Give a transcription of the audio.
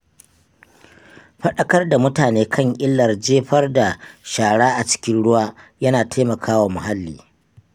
Fadaƙar da mutane kan illar jefar da shara a cikin ruwa yana taimakawa muhalli.